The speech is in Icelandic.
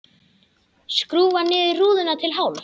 Skrúfar niður rúðuna til hálfs.